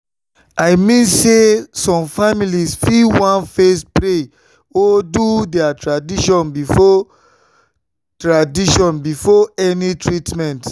i mean say some families fit wan first pray or do their tradition before tradition before any treatment.